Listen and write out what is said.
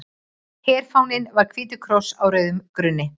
Herfáninn var hvítur kross á rauðum grunni.